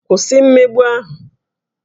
Kwụsị mmegbu ahụ!